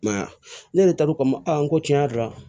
I m'a ye ne yɛrɛ taar'u kama ko tiɲɛ yɛrɛ la